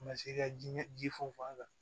Ma se ka jiɲɛ ji funfun a kan